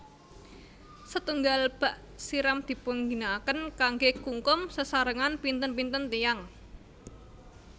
Setunggal bak siram dipunginakaken kanggé kungkum sesarengan pinten pinten tiyang